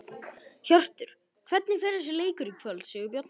Hjörtur: Hvernig fer þessi leikur í kvöld, Sigurbjörn?